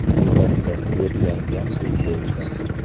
Albatta, yodlangan tuz bo‘lsa.